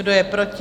Kdo je proti?